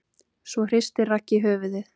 Svo hristir Raggi höfuðið.